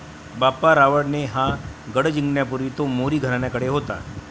बाप्पा रावळ ने हा गढ जिंकण्यापूर्वी तो मोरी घरण्याकडे होता.